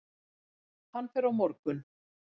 Hann fer á morgun.